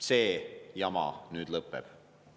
See jama nüüd lõpeb.